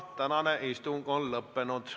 Tänane istung on lõppenud.